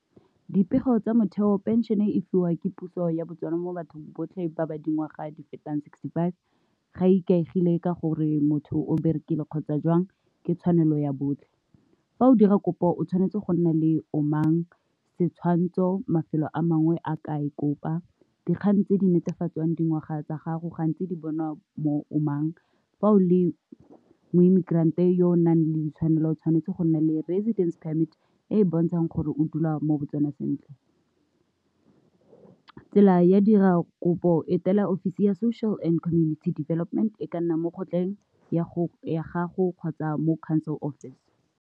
Dipego tsa motheo pension e fiwa ke puso ya Botswana mo bathong botlhe ba ba dingwaga di fetang sixty-five, ga ikaegile ka gore motho o berekile kgotsa jwang ke tshwanelo ya botlhe. Fa o dira kopo, o tshwanetse go nna le omang, setshwantsho, mafelo a mangwe a ka e kopa, dikgang tse di netefatsang dingwaga tsa gago gantsi di bonwa mo o mang, fa o le mo-immigrant yo o nang le ditshwanelo o tshwanetse go nna le residence permit e e bontshang gore o dula mo Botswana sentle. Tsela ya dira kopo e tela office ya social and community development e ka nna mo kgotleng ya go ya gago kgotsa mo council office.